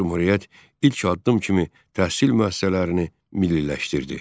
Cümhuriyyət ilk addım kimi təhsil müəssisələrini milliləşdirdi.